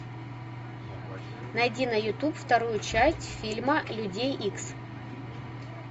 найди на ютуб вторую часть фильма людей икс